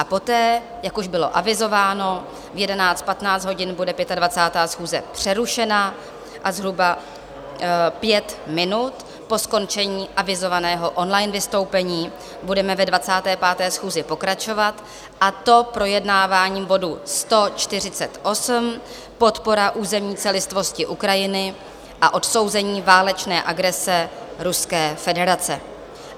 A poté, jak už bylo avizováno, v 11.15 hodin bude 25. schůze přerušena a zhruba pět minut po skončení avizovaného online vystoupení budeme ve 25. schůzi pokračovat, a to projednáváním bodu 148, podpora územní celistvosti Ukrajiny a odsouzení válečné agrese Ruské federace.